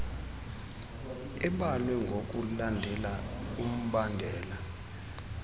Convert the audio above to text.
ebalwe ngokulandela umbandela